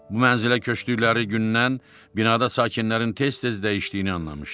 Bu mənzilə köçdükləri gündən binada sakinlərin tez-tez dəyişdiyini anlamışdı.